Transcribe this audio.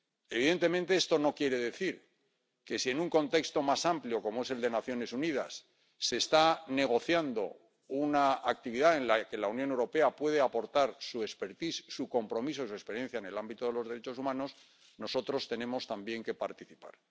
Evidentemente, esto no quiere decir que si en un contexto más amplio, como es el de las Naciones Unidas, se está negociando una actividad en la que la Unión Europea puede aportar su expertise su compromiso y su experiencia en el ámbito de los derechos humanos, nosotros tenemos también que participar.